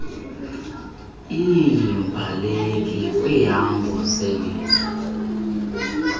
iimbaleki kwiihambo zelizwe